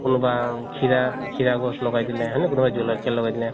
বা কোনোবা খিৰা খিৰা গছ লগাই দিলে লগাই দিলে